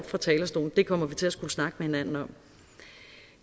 fra talerstolen det kommer vi til at skulle snakke med hinanden om